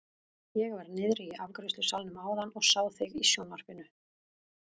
Ég var niðri í afgreiðslusalnum áðan og sá þig í sjónvarpinu!